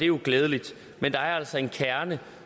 jo glædeligt men der er altså en kerne